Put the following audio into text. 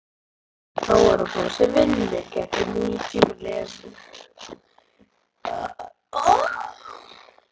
Þá er að fá sér vinnu, gæti nútímalesandi hugsað.